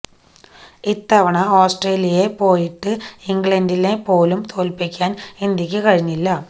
ഇത്തവണ ഓസ്ട്രേലിയയെ പോയിട്ട് ഇംഗ്ലണ്ടിനെ പോലും തോല്പിക്കാന് ഇന്ത്യയ്ക്ക് കഴിഞ്ഞില്ല